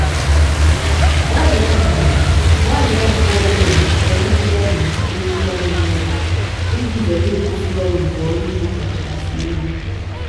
gbalia mgbe gbalia mgbe ọbula zụta ihe ndị a na-eji dochie anya n'oge iji zere ịkwụsị ọrụ mgbe ọrụ ugbo kachasị elu.